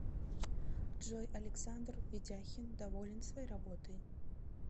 джой александр ведяхин доволен своей работой